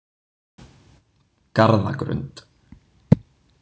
Garðagrund